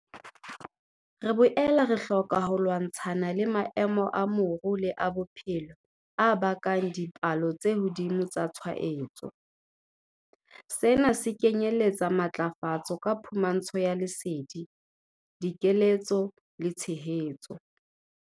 Re boela re hloka ho lwantshana le maemo a moru le a bophelo a bakang dipalo tse hodimo tsa tshwaetso. Sena se kenyeletsa matlafatso ka phumantsho ya lesedi, dikeletso le tshehetso.